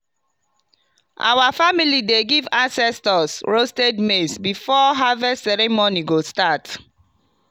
our family dey give ancestors roasted maize before harvest ceremony go start.